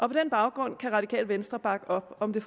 den baggrund kan radikale venstre bakke op om det